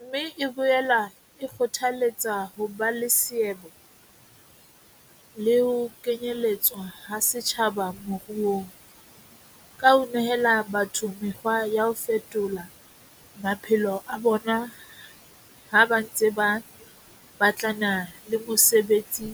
Mme e boela e kgothaletsa ho ba le seabo le ho kenyeletswa ha setjhaba moruong, ka ho nehela batho mekgwa ya ho fetola maphelo a bona ha ba ntse ba batlana le mesebetsi